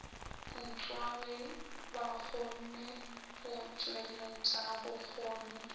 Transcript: putswa ge bakgonne go tšweletšabokgoni